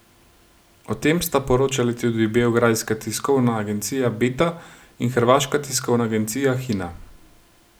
O tem sta poročali tudi beograjska tiskovna agencija Beta in hrvaška tiskovna agencija Hina.